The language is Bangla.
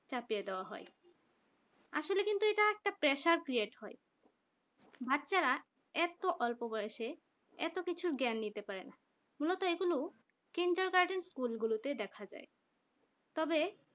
চাপিয়ে দেওয়া হয় আসলে কিন্তু এটা একটা pressure create হাই বাচ্চারা এত অল্প বয়সে এত কিছু জ্ঞান নিতে পারেনা মূলত এগুলো kindergarten স্কুলগুলোতে দেখা যায় তবে